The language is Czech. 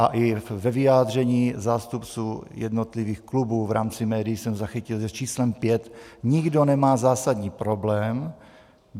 A i ve vyjádření zástupců jednotlivých klubů v rámci médií jsem zachytil, že s číslem pět nikdo nemá zásadní problém.